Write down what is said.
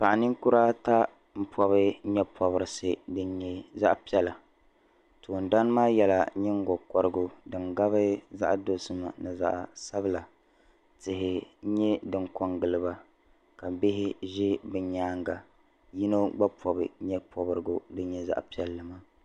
Paɣi ninkura. ata n pɔbi nyɛ pɔbirisi, zaɣi pɛla toon dani maa yela nyingo korigu din gabi zaɣi dozima ni zaɣi sabila tihi nyɛ din kon giliba kabihi zɛ bi nyaaŋa yinɔ gba pɔbi nyɛ pɔbirisi din nyɛ zaɣi piɛli maa.